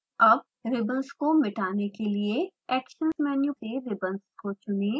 अब रिबंस को मिटने के लिए action मेनू से रिबंस को चुनें